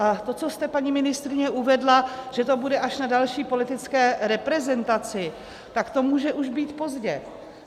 A to, co jste, paní ministryně, uvedla, že to bude až na další politické reprezentaci, tak to může už být pozdě.